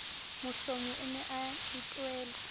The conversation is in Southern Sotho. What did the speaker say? mohlomi o ne a etelwe